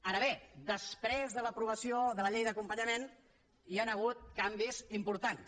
ara bé després de l’aprovació de la llei d’acompanyament hi han hagut canvis importants